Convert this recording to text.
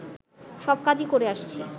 সব কাজই করে আসছি